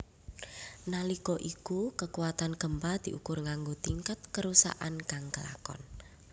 Nalika iku kekutan gempa diukur nganggo tingkat kerusakan kang kelakon